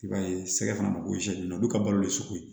I b'a ye sɛgɛ fana bɛ gosi olu ka balolen ye sugu ye